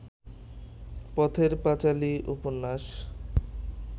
পথের পাঁচালী উপন্যাস